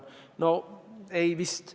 No ega vist.